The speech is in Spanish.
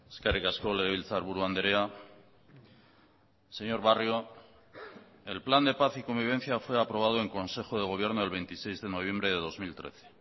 eskerrik asko legebiltzarburu andrea señor barrio el plan de paz y convivencia fue aprobado en consejo de gobierno el veintiséis de noviembre de dos mil trece